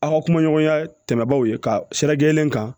Aw ka kumaɲɔgɔnya tɛmɛnaaw ye ka sira gɛlɛn kan